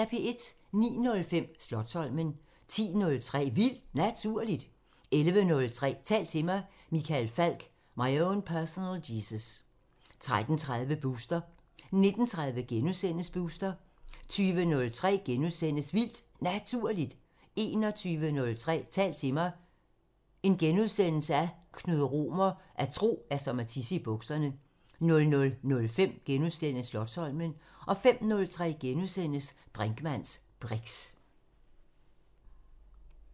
09:05: Slotsholmen 10:03: Vildt Naturligt 11:03: Tal til mig – Michael Falch: My own personal Jesus 13:30: Booster 19:30: Booster * 20:03: Vildt Naturligt * 21:03: Tal til mig – Knud Romer: At tro er som at tisse i bukserne * 00:05: Slotsholmen * 05:03: Brinkmanns briks *